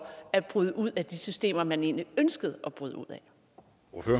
at bryde ud af de systemer som man egentlig ønskede at bryde ud